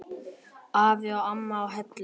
Afi og amma á Hellum.